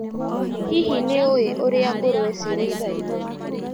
Hihi nĩũĩ ũrĩa ngũrũwe cirĩithagio.